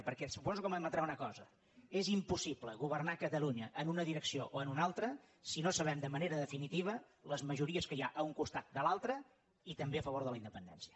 perquè suposo que m’admetrà una cosa és impossible governar catalunya en una direcció o en una altra si no sabem de manera definitiva les majories que hi ha a un costat de l’altre i també a favor de la independència